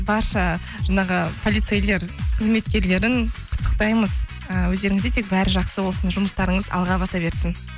барша жаңағы полицейлер қызметкерлерін құттықтаймыз і өздеріңізде тек бәрі жақсы болсын жұмыстарыңыз алға баса берсін